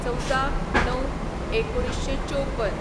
१४/०९/१९५४